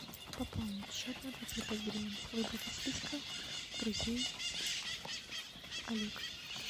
пополнить счет на двадцать пять гривен выбрать из списка друзей олег